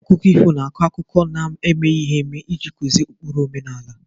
Akụkọ ifu na-akọ akụkọ na-emeghi eme iji kuzi ukpuru ndị.